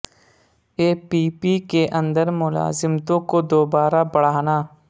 اے P P کے اندر ملازمتوں کو دوبارہ بڑھانا